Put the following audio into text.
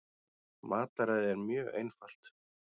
Mataræðið er mjög einfalt